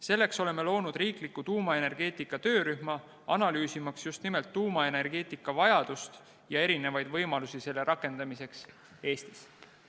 Selleks oleme loonud riikliku tuumaenergeetika töörühma, analüüsimaks tuumaenergeetika vajadust ja erinevaid võimalusi, kuidas seda Eestis rakendada.